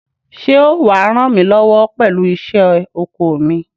Ṣé ó wà á ràn mí lọ́wọ́ pẹ̀lú iṣẹ́ oko mi?